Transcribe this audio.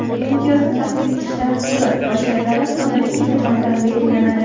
Imtiyozni taqdim etish tartibi va shartlari qonunchilik tomonidan belgilanadi.